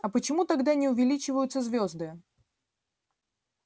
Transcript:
а почему тогда не увеличиваются звёзды